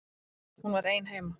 Hún var ein heima.